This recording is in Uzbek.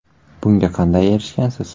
Bunga qanday erishgansiz?